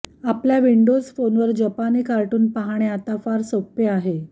आपल्या विंडोज फोनवर जपानी कार्टून पहाणे आता फार सोपे आहे